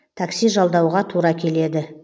такси жалдауға тура келеді